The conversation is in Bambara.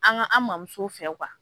An ka an mamuso fɛn